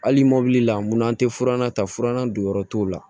Hali mobili la mun an tɛ furanna ta furanna don yɔrɔ t'o la